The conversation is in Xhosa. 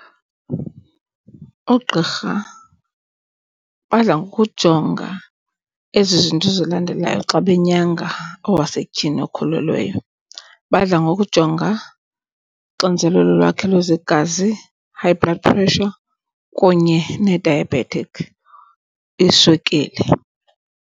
Oogqirha badla ngokujonga ezi zinto zilandelayo xa benyanga owasetyhini okhulelweyo. Badla ngokujonga uxinzelelo lwakhe lwezegazi, high blood pressure, kunye ne-diabetic iswekile.